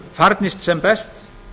farnist sem best